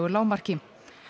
lágmarki